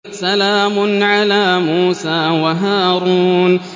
سَلَامٌ عَلَىٰ مُوسَىٰ وَهَارُونَ